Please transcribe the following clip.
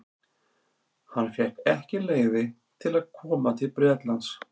Hann fékk ekki leyfi til að koma til Bretlands.